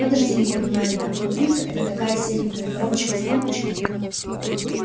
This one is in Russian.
подожди не понимаю я компьютер это такая серенькая коробочка с лампочками